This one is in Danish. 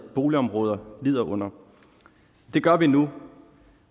boligområder lider under det gør vi nu